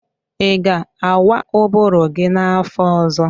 Ị ga-awa ụbụrụ gi n'afọ ọzọ?